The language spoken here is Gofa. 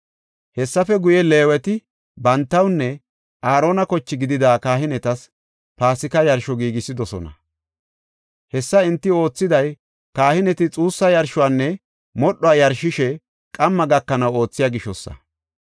Hessafe guye, Leeweti bantawunne Aarona koche gidida kahinetas Paasika yarsho giigisidosona. Hessa enti oothiday, kahineti xuussa yarshonne modhuwa yarshishe qamma gakanaw oothiya gishosa.